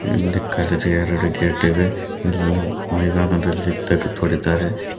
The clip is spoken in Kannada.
ಇಲ್ಲಿ ಕರಿದ ಎರಡು ಗೇಟ್ ಇವೆ ಇಲ್ಲೂ ಮೈದಾನದಲ್ಲಿ ತೇಗ್ಗ ತೋಡಿದ್ದಿದ್ದಾರೆ.